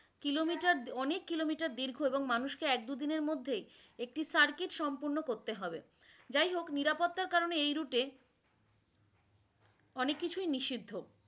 Kilometer অনেক Kilometer দীর্ঘ এবং মানুষ কে এক-দুদিনের মধ্যেই একটি সারকিট সম্পন্ন করতে হবে, যাই হোক নিরাপত্তার কারনে এই রুটে অনেক কিছু নিষিদ্ধ।